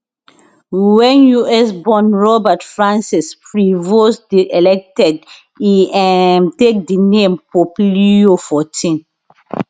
wen us born robert francis prevost dey elected e um take di name pope leo fourteen